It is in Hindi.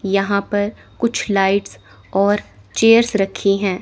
यहां पर कुछ लाइट्स और चेयर्स रखी हैं।